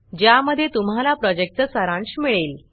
ज्यामध्ये तुम्हाला प्रॉजेक्टचा सारांश मिळेल